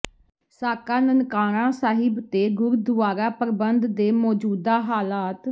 ਸਾਕਾ ਨਨਕਾਣਾ ਸਾਹਿਬ ਅਤੇ ਗੁਰਦੁਆਰਾ ਪ੍ਰਬੰਧ ਦੇ ਮੌਜੂਦਾ ਹਾਲਾਤ